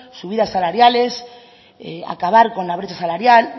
subidas salariales acabar con la brecha salarial